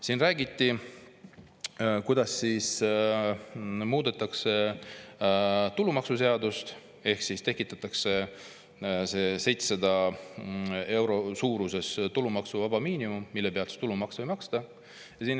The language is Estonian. Siin räägiti, kuidas muudetakse tulumaksuseadust ehk tekitatakse 700 euro suuruses tulumaksuvaba miinimum,, mille pealt tulumaksu ei maksta.